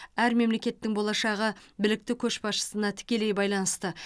әр мемлекеттің болашағы білікті көшбасшысына тікелей байланысты